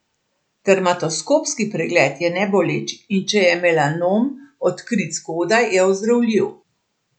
Dermatoskopski pregled je neboleč, in če je melanom odkrit zgodaj, je ozdravljiv.